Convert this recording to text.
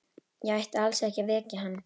Ég ætti alls ekki að vekja hann.